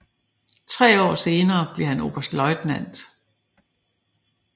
Tre år senere blev han oberstløjtnant